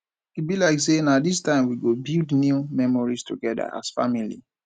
e be like sey na dis time we go build new memories togeda as family